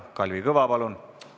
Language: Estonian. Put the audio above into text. Kalvi Kõva, palun!